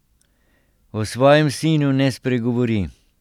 O svojem sinu ne spregovori.